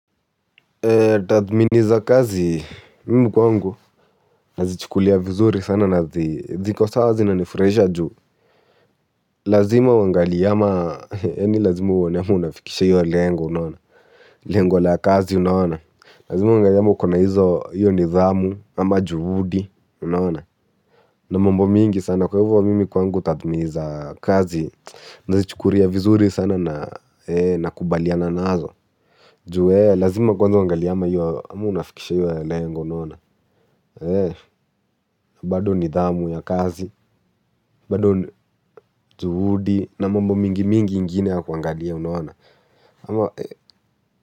Tathmini za kazi, mimi kwangu, nazichukulia vizuri sana na ziko sawa zinanifurahisha ju lazima uangalie ama, yani lazima uone ama unafikisha iyo lengo unaona lengo la kazi unaona. Lazima uangalie ama ukona hizo iyo nidhamu ama juhudi unaona. Na mambo mingi sana, kwa hivo mimi kwangu, tathmini za kazi, nazichukulia vizuri sana na kubaliana nazo. Ju eeh, lazima kwanza uangalie ama unafikisha iyo lengo unaona. Na bado nidhamu ya kazi, bado juhudi na mambo mingi mingi ingine ya kuangalia unaona ama.